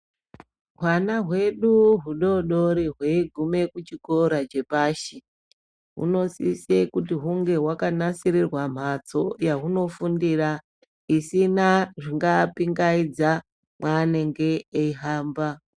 Wana wedu wudodori weyigume kuchikora chepashi, unosise kuti wunge hwakanasirirwa mhatso yawunofundira isina zvingapingayidzapwanenge ehamba.